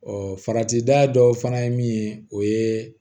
Ɔ farati da dɔw fana ye min ye o ye